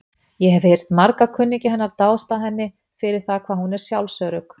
Ég hef heyrt marga kunningja hennar dást að henni fyrir það hvað hún er sjálfsörugg.